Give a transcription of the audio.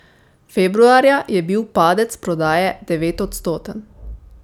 Februarja je bil padec prodaje devetodstoten.